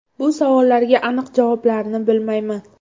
Bu savollarga aniq javoblarni bilmayman.